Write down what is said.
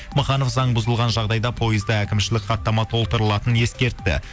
маханов заң бұзылған жағдайда пойызда әкімшілік хаттама толтырылатынын ескертті